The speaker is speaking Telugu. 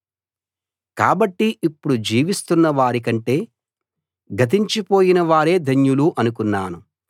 కాబట్టి ఇప్పుడు జీవిస్తున్న వారి కంటే గతించిపోయిన వారే ధన్యులు అనుకున్నాను